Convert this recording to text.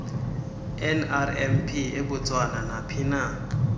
nrmp ebotswana naphina